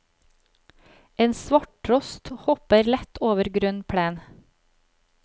En svarttrost hopper lett over grønn plen.